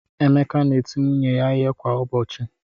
Emeka na-eti nwunye ya ihe kwa ụbọchị.